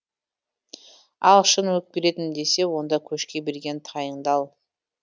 ал шын өкпеледім десең онда көшке берген тайыңды ал